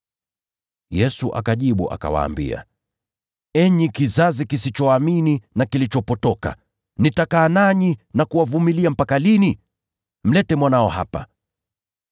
Yesu akawajibu, “Enyi kizazi kisichoamini na kilichopotoka! Nitakaa nanyi na kuwavumilia mpaka lini? Mlete mwanao hapa.”